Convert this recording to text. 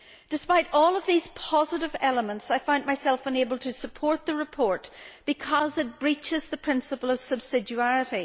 Despite all of these positive elements, I find myself unable to support the report, because it breaches the principle of subsidiarity.